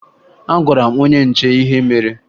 Agwara m onye nche ihe mere